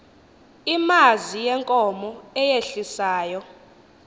imazi yenkomo eyehlisayo